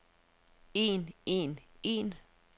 en en en